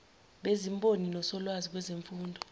bezimboni nosolwazi kwezemfundo